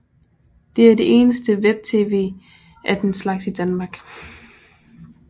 Det er det eneste web tv af den slags i Danmark